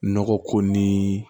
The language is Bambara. Nɔgɔ ko ni